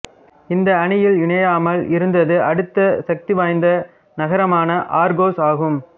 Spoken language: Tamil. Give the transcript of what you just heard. இந்த அணியில் இணையாமல் இருந்தது அடுத்த சக்திவாய்ந்த நகரமான ஆர்கோஸ் ஆகும்